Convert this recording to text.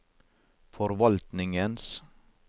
forvaltningens